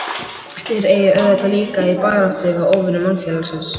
Þér eigið auðvitað líka í baráttu við óvini mannfélagsins?